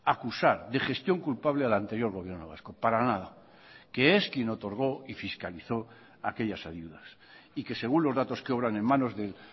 acusar de gestión culpable al anterior gobierno vasco para nada que es quien otorgó y fiscalizó aquellas ayudas y que según los datos que obran en manos del